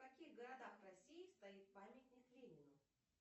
в каких городах россии стоит памятник ленину